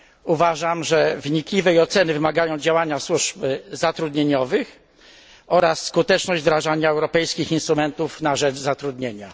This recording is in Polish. Uważam, że wnikliwej oceny wymagają działania służb zatrudnieniowych oraz skuteczność wdrażania europejskich instrumentów na rzecz zatrudnienia.